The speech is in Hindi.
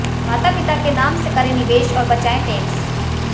माता पिता के नाम से करें निवेश और बचाएं टैक्स